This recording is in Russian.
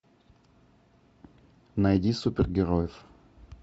найди супергероев